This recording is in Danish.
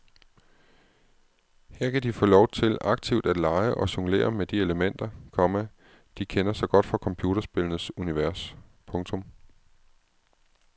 Her kan de få lov til aktivt at lege og jonglere med de elementer, komma de kender så godt fra computerspillenes univers. punktum